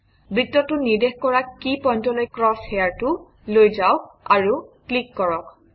বৃত্তটো নিৰ্দেশ কৰা কি পইণ্টলৈ ক্ৰছ হেয়াৰটো লৈ যাওক আৰু ক্লিক কৰক